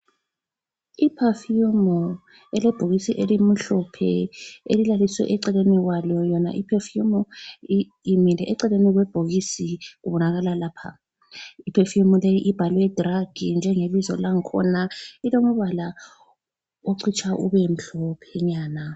Iperfume elebhokisi elimhlophe elilaliswe eceleni kwalo yona iperfume imile eceleni kwebhokisi kubonakala lapha. Iperfume leyi ibhalwe drug njengebizo lang khona. Ilombala ocitsha ube mhlophenyana.